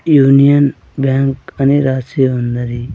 Union Bank అని రాసి ఉన్నది.